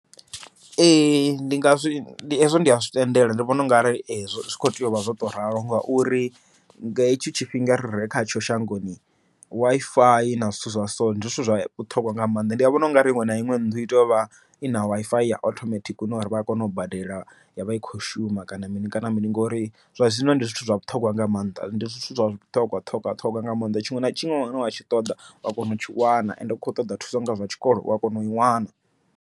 Ee ndi ngazwi hezwo ndi a zwi tendela, ndi vhona unga arali zwi kho tea uvha zwo to ralo, ngauri nga hetsho tshifhinga rire khatsho shangoni WiFi na zwithu zwa so ndi zwithu zwa vhuṱhogwa nga maanḓa. Ndi vhona u ngari iṅwe na iṅwe nnḓu i tea u vha i na WiFi ya othomethikhi, hune uri vha a kona u badela ya vha i khou shuma kana mini kana mini, ngori zwa zwino ndi zwithu zwa vhuṱhogwa nga maanḓa ndi zwithu zwa vhuṱhogwa ṱhogwa ṱhogwa nga mannḓa, tshiṅwe na tshiṅwe tshine wa tshi ṱoḓa wa kona utshi wana, ende u kho ṱoḓa thusa nga zwa tshikolo u a kona ui wana.